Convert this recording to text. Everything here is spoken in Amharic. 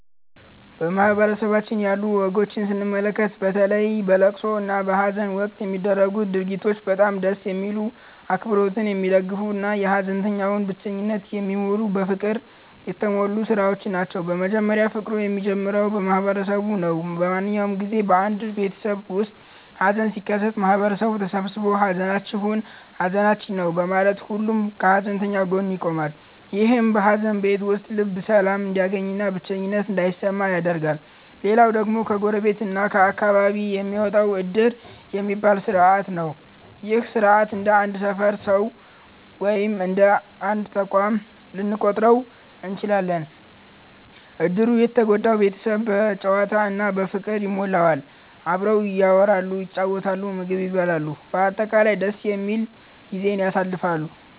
በማህበረሰባችን ያሉ ወጎችን ስንመለከት፣ በተለይ በለቅሶ እና በሃዘን ወቅት የሚደረጉት ድርጊቶች በጣም ደስ የሚሉ፣ አብሮነትን የሚደግፉ እና የሃዘንተኛውን ብቸኝነት የሚሞሉ በፍቅር የተሞሉ ሥራዎች ናቸው። መጀመሪያውኑ ፍቅሩ የሚጀምረው ከማህበረሰቡ ነው። በማንኛውም ጊዜ በአንድ ቤተሰብ ውስጥ ሃዘን ሲከሰት፣ ማህበረሰቡ ተሰብስቦ 'ሃዘናችሁ ሃዘናችን ነው' በማለት ሁሉም ከሃዘንተኛው ጎን ይቆማል። ይህም በሃዘን ቤት ውስጥ ልብ ሰላም እንዲያገኝና ብቸኝነት እንዳይሰማ ያደርጋል። ሌላው ደግሞ ከጎረቤት እና ከአካባቢው የሚመጣው 'ዕድር' የሚባለው ሥርዓት ነው። ይህ ሥርዓት እንደ አንድ ሰፈር ሰው ወይም እንደ አንድ ተቋም ልንቆጥረው እንችላለን። ዕድሩ የተጎዳውን ቤተሰብ በጨዋታ እና በፍቅር ይሞላዋል። አብረው ያወራሉ፣ ይጫወታሉ፣ ምግብ ይበላሉ፤ በአጠቃላይ ደስ የሚል ጊዜን ያሳልፋሉ።